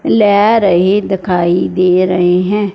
ल्या रहे दखाई दे रहे हैं।